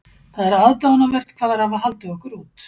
Það er aðdáunarvert hvað þær hafa haldið okkur út.